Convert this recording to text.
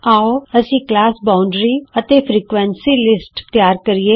ਆਉ ਅਸੀਂ class boundary ਅਤੇ ਫ੍ਰੀਕੁਏਂਸੀ ਲਿਸਟ ਤਿਆਰ ਕਰੀਏ